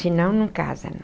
Se não, não casam.